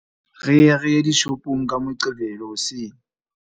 Re ye re ye dishopong ka Moqebelo hoseng.